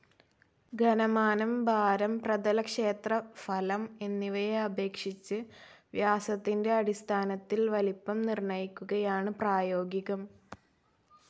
ഘനമാനം, ഭാരം, പ്രതലക്ഷേത്രഫലം എന്നിവയെ അപേക്ഷിച്ച് വ്യാസത്തിൻ്റെ അടിസ്ഥാനത്തിൽ വലിപ്പം നിർണ്ണയിക്കുകയാണ് പ്രായോഗികം.